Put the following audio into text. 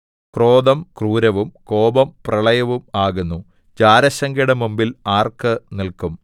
ക്രോധം ക്രൂരവും കോപം പ്രളയവും ആകുന്നു ജാരശങ്കയുടെ മുമ്പിൽ ആർക്ക് നില്ക്കും